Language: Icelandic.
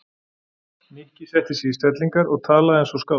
Nikki setti sig í stellingar og talaði eins og skáld.